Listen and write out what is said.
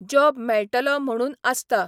Job मेळटलो म्हुणून आसता.